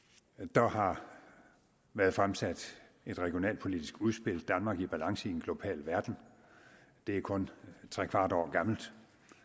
der har været fremsat et regionalpolitisk udspil danmark i balance i en global verden det er kun trekvart år gammelt